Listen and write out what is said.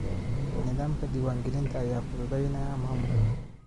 Nidaamka diiwaangelinta ayaa fududeynaya maamulka.